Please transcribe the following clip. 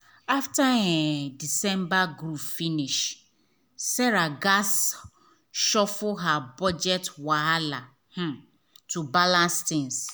after um december groove finish sarah gatz shuffle her budget wella um to balance tins.